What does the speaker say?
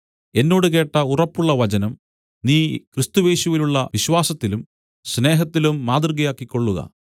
എന്നോട് കേട്ട ഉറപ്പുള്ള വചനം നീ ക്രിസ്തുയേശുവിലുള്ള വിശ്വാസത്തിലും സ്നേഹത്തിലും മാതൃകയാക്കിക്കൊള്ളുക